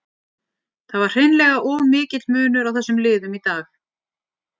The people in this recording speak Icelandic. Það var hreinlega of mikill munur á þessum liðum í dag.